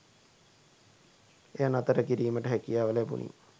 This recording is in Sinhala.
එය නතර කිරීමට හැකියාව ලැබුණි